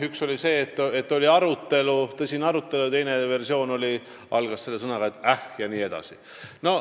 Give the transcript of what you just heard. Üks oli see, et oli tõsine arutelu, ja teine versioon tugines sõnale "ehk".